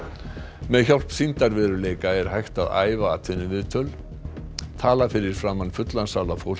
með hjálp sýndarveruleika er hægt að æfa atvinnuviðtöl tala fyrir framan fullan sal af fólki